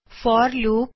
four loop